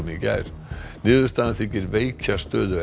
í gær niðurstaðan þykir veikja stöðu